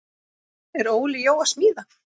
Er Óli Jó að smíða?